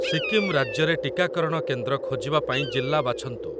ସିକ୍କିମ୍ ରାଜ୍ୟରେ ଟିକାକରଣ କେନ୍ଦ୍ର ଖୋଜିବା ପାଇଁ ଜିଲ୍ଲା ବାଛନ୍ତୁ ।